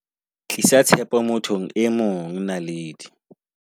Tlisa tshepo mo thong e mongNaledi